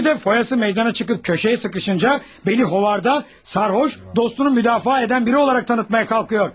Şimdi də foyası meydana çıxıb köşəyə sıxışınca, beni xovarda, sərxoş, dostunu müdafiə edən biri olaraq tanıtmaya qalxır.